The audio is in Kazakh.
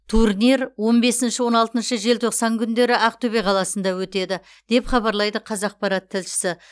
турнир он бесінші он алтыншы желтоқсан күндері ақтөбе қаласында өтеді деп хабарлайды қазақпарат тілшісі